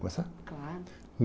começar? Claro.